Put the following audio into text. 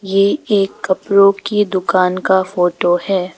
ये एक कपड़ों की दुकान का फोटो है।